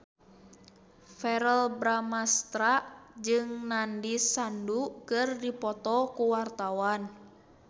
Verrell Bramastra jeung Nandish Sandhu keur dipoto ku wartawan